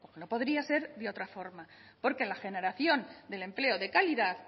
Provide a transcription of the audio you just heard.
no podría ser de otra forma porque la generación del empleo de calidad